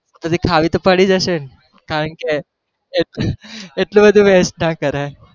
પછી તો ખાવી જ પડી હશે ને, કારણ કે એટલુ બધું waste ના કરાઈ